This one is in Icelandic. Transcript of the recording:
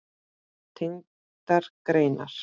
Tengdar greinar